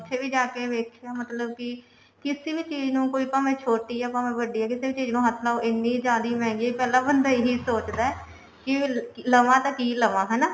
ਵੀ ਜਾਕੇ ਦੇਖਿਆ ਮਤਲਬ ਕਿ ਕਿਸੇ ਵੀ ਚੀਜ਼ ਨੂੰਕੋਈ ਭਾਵੇਂ ਛੋਟੀ ਹੈ ਭਾਵੇਂ ਵੱਡੀ ਹੈ ਕਿਸੇ ਵੀ ਚੀਜ਼ ਨੂੰ ਹੱਥ ਲਾਉ ਇੰਨੀ ਜਿਆਦੀ ਮਹਿੰਗੀ ਪਹਿਲਾਂ ਬੰਦਾ ਇਹੀ ਸੋਚਦਾ ਕਿ ਲਵਾਂ ਤਾਂ ਕਿ ਲਵਾਂ ਹਨਾ